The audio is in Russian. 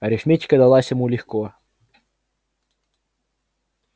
арифметика далась ему легко